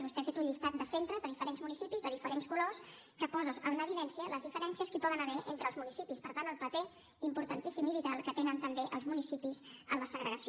vostè ha fet un llistat de centres de diferents municipis de diferents colors que posa en evidència les diferències que hi poden haver entre els municipis i per tant el paper importantíssim i vital que tenen també els municipis en la segregació